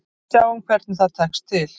Sjáum hvernig það tekst til.